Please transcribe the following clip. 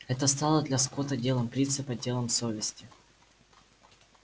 это стало для скотта делом принципа делом совести